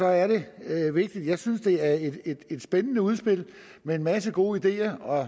er det vigtigt jeg synes det er et spændende udspil med en masse gode ideer